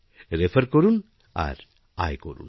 রেফারকরুন আর আয় করুন